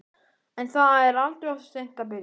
En það er aldrei of seint að byrja.